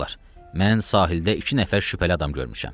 Uşaqlar, mən sahildə iki nəfər şübhəli adam görmüşəm.